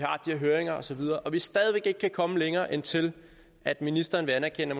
her høringer og så videre og vi stadig væk ikke kan komme længere end til at ministeren vil anerkende